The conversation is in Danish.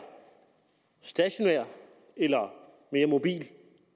stationær eller mere mobil